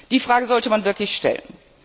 Die Frage sollte man wirklich stellen.